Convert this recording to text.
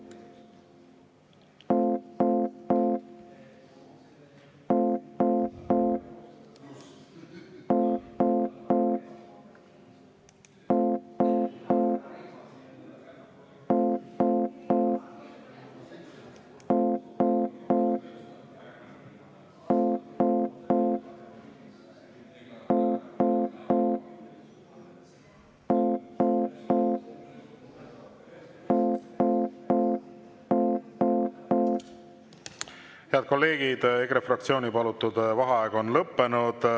Head kolleegid, EKRE fraktsiooni palutud vaheaeg on lõppenud.